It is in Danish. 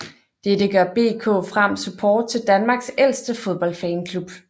Dette gør BK Frem Support til Danmarks ældste fodboldfanklub